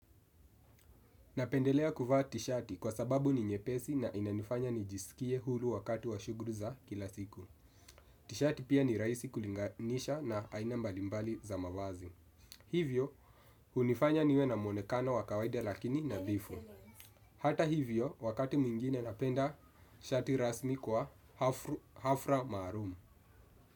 Napendelea kuvaa tishati kwa sababu ni nyepesi na inanifanya nijisikie huru wakati wa shughuli za kila siku. Tishati pia ni rahisi kulinganisha na aina mbalimbali za mavazi. Hivyo, hunifanya niwe na mwonekana wa kawaida lakini nadhifu. Hata hivyo wakati mwingine napenda shati rasmi kwa hafla maalum.